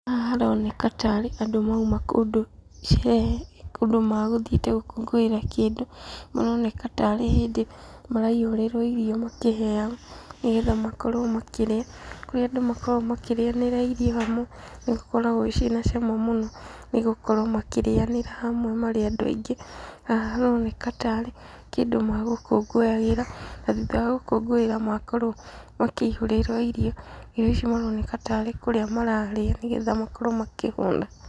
Haha haroneka ta arĩ andũ mauma kũndũ sherehe, kũndũ megũthiĩte gũkũngũĩra kĩndũ, maroneka tarĩ hĩndĩ maraihũrĩrwo irio makĩheagwo nĩgetha makorwo makĩrĩa, kũrĩa andũ makoragwo makĩrĩanĩra irio hamwe, nĩgũkoragwo ciĩna cama mũno nĩgũkorwo makĩrĩanĩra hamwe marĩ andũ aingĩ. Haha haroneka tarĩ kĩndũ megũkũngũyagĩra, na thutha wa gũkũngũĩra makorwo makĩihũrĩrwo irio. Irio ici maroneka tarĩ kũrĩa mararĩa, nĩgetha makorwo makĩhũna.